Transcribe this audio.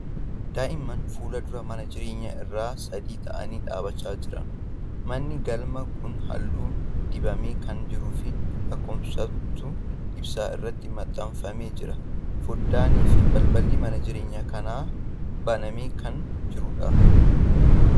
Daa'imman fuula dura mana jireenyaa irra sadii ta'anii dhaabachaa jiran. Manni galmaa kun halluu dibamee kan jiruu fi lakkooftuun ibsaa irratti maxxanfamee jira. Foddaanii fi balballi mana jireenyaa kanaa banamee kan jirudha.